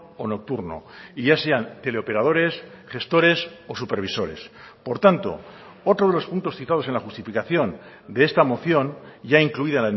o nocturno y ya sean teleoperadores gestores o supervisores por tanto otro de los puntos citados en la justificación de esta moción ya incluida